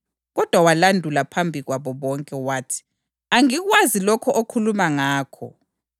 Kodwa walandula phambi kwabo bonke. Wathi, “Angikwazi lokho okhuluma ngakho.”